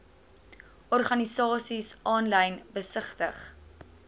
organisasies aanlyn besigtig